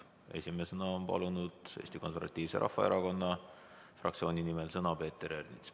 Esimesena soovib Eesti Konservatiivse Rahvaerakonna fraktsiooni nimel sõna võtta Peeter Ernits.